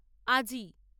আজি।